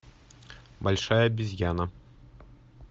большая обезьяна